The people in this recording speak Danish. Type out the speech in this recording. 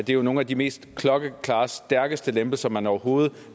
jo er nogle af de mest klokkeklare og stærkeste lempelser man overhovedet